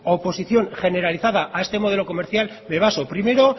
oposición generalizada a este modelo comercial me baso primero